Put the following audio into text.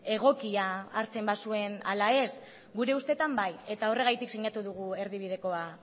egokia hartzen bazuen ala ez gure ustetan bai eta horregatik sinatu dugu erdibidekoa